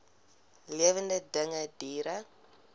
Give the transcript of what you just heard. lewende dinge diere